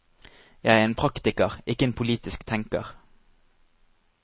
Jeg er en praktiker, ikke en politisk tenker.